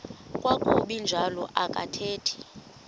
kwakuba njalo athetha